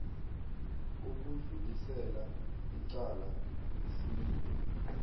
ukudlulisela icala isililo